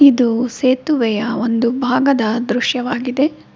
ಇದು ಸೇತುವೆಯ ಒಂದು ಭಾಗದ ದೃಶ್ಯವಾಗಿದೆ.